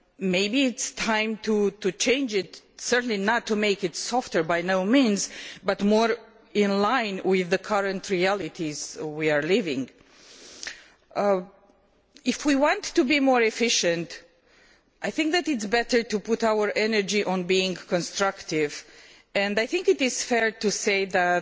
Maybe it is time to change it, certainly not to make it softer, but perhaps to bring it more in line with the current realities we are living through. If we want to be more efficient, it is better to put our energy into being constructive, and I think it is fair to say that